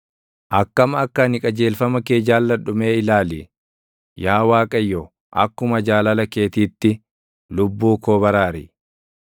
Akkam akka ani qajeelfama kee jaalladhu mee ilaali; Yaa Waaqayyo, akkuma jaalala keetiitti lubbuu koo baraari.